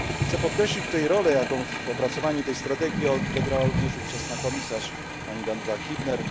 Chcę podkreślić tutaj rolę, jaką w opracowaniu tej strategii odegrała również ówczesna komisarz pani Danuta Hübner.